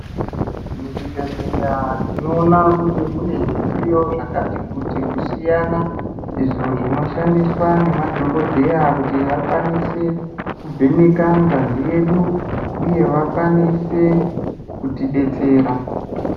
Muzvibhedhleya tinoona kuti mune zvidziyo zvakati kuti kusiyana izvo inoshandiswa ngemadhokodheya kuti vakwanise kutivheneka ngazi yedu uye kuti vakwanise kuti detsera.